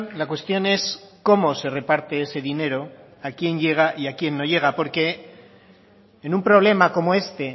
la cuestión es cómo se reparte ese dinero a quién llega y a quién no llega porque en un problema como este